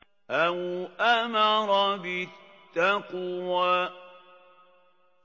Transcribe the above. أَوْ أَمَرَ بِالتَّقْوَىٰ